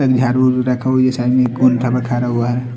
झाड़ू ऊधू रखा हुआ साइड में कौन तना खड़ा हुआ है।